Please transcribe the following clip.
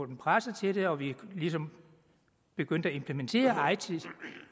dem presset til det og vi ligesom begyndte at implementere eiti